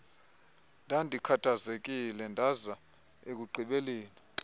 ndandikhathazekile ndaza ekugqibeleni